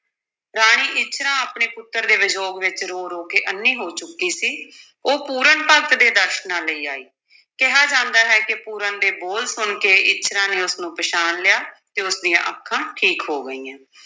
ਰਾਣੀ ਇੱਛਰਾਂ ਆਪਣੇ ਪੁੱਤਰ ਦੇ ਵਿਯੋਗ ਵਿੱਚ ਰੋ-ਰੋ ਕੇ ਅੰਨ੍ਹੀ ਹੋ ਚੁੱਕੀ ਸੀ ਉਹ ਪੂਰਨ ਭਗਤ ਦੇ ਦਰਸ਼ਨਾਂ ਲਈ ਆਈ, ਕਿਹਾ ਜਾਂਦਾ ਹੈ ਕਿ ਪੂਰਨ ਦੇ ਬੋਲ ਸੁਣ ਕੇ ਇੱਛਰਾਂ ਨੇ ਉਸ ਨੂੰ ਪਛਾਣ ਲਿਆ ਤੇ ਉਸ ਦੀਆਂ ਅੱਖਾਂ ਠੀਕ ਹੋ ਗਈਆਂ।